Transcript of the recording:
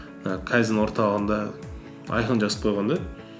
і кайдзен орталығында айқын жазып қойған да